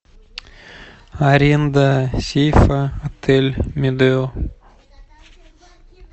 аренда сейфа отель медео